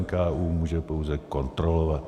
NKÚ může pouze kontrolovat.